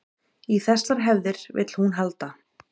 Í þessar hefðir vill hún halda